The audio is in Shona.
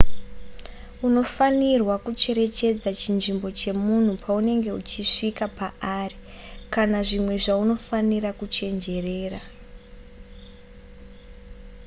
unofanirwa kucherechedza chinzvimbo chemunhu paunenge uchisvika paari kana zvimwe zvaunofanira kuchenjerera